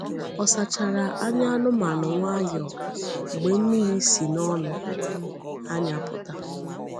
O sachara anya anụmanụ nwayọọ mgbe mmiri si n’ọnụ anya pụta.